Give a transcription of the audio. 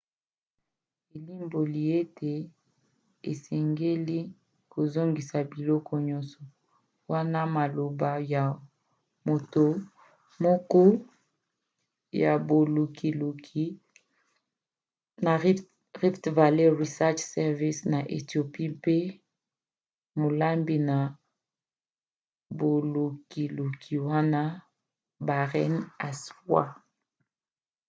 elimboli ete osengeli kozongisa biloko nyonso, wana maloba ya moto moko ya bolukiluki na rift valley research service na ethiopie mpe molandi na bolukiluki wana berhane asfaw